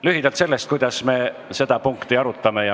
Lühidalt sellest, kuidas me seda punkti arutame.